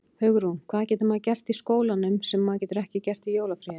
Hugrún: Hvað getur maður gert í skólanum sem maður getur ekki gert í jólafríinu?